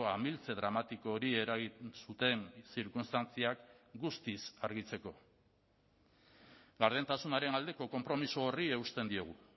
amiltze dramatiko hori eragin zuten zirkunstantziak guztiz argitzeko gardentasunaren aldeko konpromiso horri eusten diogu